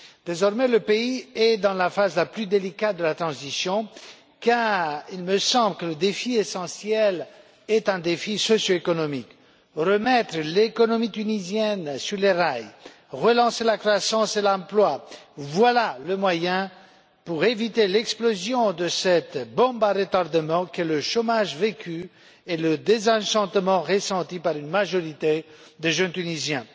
Désormais, le pays est dans la phase la plus délicate de la transition, car il me semble que le défi essentiel est un défi socioéconomique remettre l'économie tunisienne sur les rails, relancer la croissance et l'emploi, voilà le moyen pour éviter l'explosion de cette bombe à retardement que sont le chômage vécu et le désenchantement ressenti par une majorité de jeunes Tunisiens.